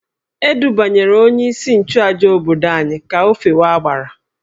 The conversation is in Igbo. E dubanyere onyeisi nchụàjà obodo anyị ka o fewe agbara